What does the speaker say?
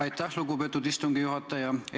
Aitäh, lugupeetud istungi juhataja!